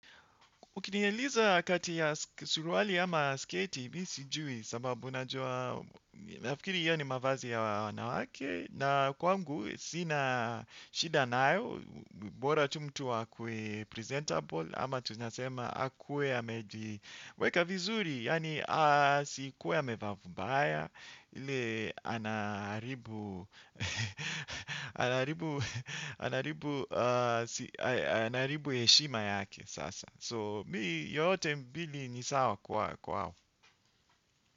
Ukinieliza kati ya suruali ama sketi, mimi sijui sababu najua, nafikiri iyo ni mavazi ya wanawake, na kwangu, sina shida nayo, bora tu mtu akuwe presentable, ama tunasema akuwe amejiweka vizuri, yaani asikuwe amevaa vibaya, ile anaharibu, anaharibu, anaharibu heshima yake sasa. So mi yote mbili ni sawa kwa hao.